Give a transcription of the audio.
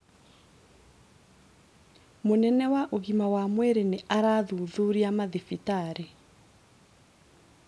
Mũnene wa ũgima mwega wa mwĩrĩ nĩ arathuthuria mathibitarĩ